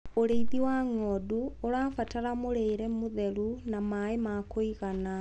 ũrĩithi wa ng'ondu ũrabatara mũrĩre mũtheru na maĩ ma kũigana